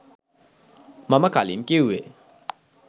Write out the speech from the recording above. මම කලින් කිව්වේ.